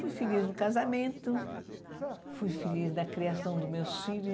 Fui feliz no casamento, fui feliz na criação dos meus filhos.